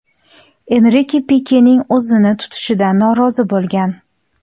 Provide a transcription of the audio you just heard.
Enrike Pikening o‘zini tutishidan norozi bo‘lgan.